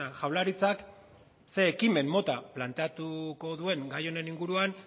jaurlaritzak zein ekimen mota planteatuko duen gai honen inguruan